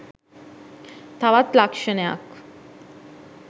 තවත් ලක්‍ෂණයක්.